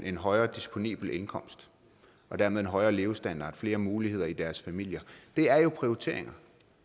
en højere disponibel indkomst og dermed en højere levestandard og flere muligheder i deres familier det er jo prioriteringer